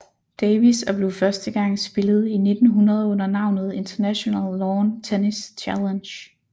Davis og blev første gang spillet i 1900 under navnet International Lawn Tennis Challenge